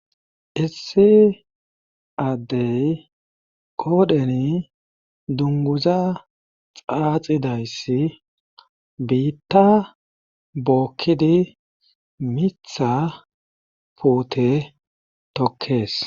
Issi addey qoodheni dunguza xaaxidayssi biitta bookkidi mitha puute tokkees.